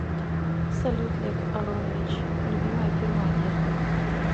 салют лев аронович любимая фирма одежды